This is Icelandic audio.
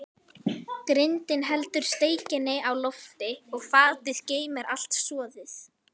Grindin heldur steikinni á lofti og fatið geymir allt soðið.